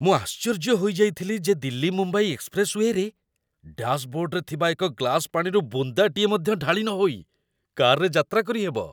ମୁଁ ଆଶ୍ଚର୍ଯ୍ୟ ହୋଇଯାଇଥିଲି ଯେ ଦିଲ୍ଲୀ ମୁମ୍ବାଇ ଏକ୍ସପ୍ରେସ୍‌ୱେରେ, ଡ୍ୟାସ୍‌ବୋର୍ଡରେ ଥିବା ଏକ ଗ୍ଲାସ୍ ପାଣିରୁ ବୁନ୍ଦାଟିଏ ମଧ୍ୟ ଢାଳି ନହୋଇ, କାର୍‌ରେ ଯାତ୍ରା କରିହେବ।